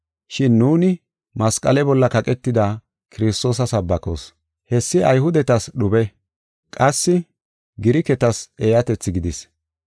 Shin nuuni masqale bolla kaqetida Kiristoosa sabbakoos. Hessi Ayhudetas dhube; qassi Giriketas eeyatethi gidis.